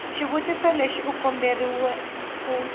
xitiviso lexi u komberiwa ku